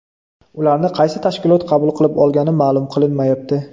Ularni qaysi tashkilot qabul qilib olgani ma’lum qilinmayapti.